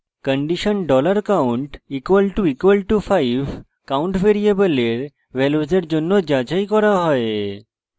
condition $count == 5 count ভ্যারিয়েবলের ভ্যালুসের জন্য যাচাই করা হয়